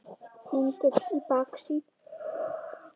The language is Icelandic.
Hengill í baksýn.